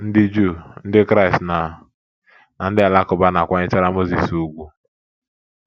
Ndị Juu, Ndị Kraịst, na na ndị Alakụba na - akwanyechara Mozis ùgwù.